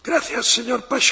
Herr Präsident!